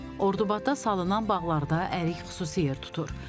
Ordubadda salınan bağlarda ərik xüsusi yer tutur.